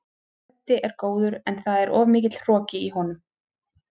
Freddi er góður en það er of mikill hroki í honum.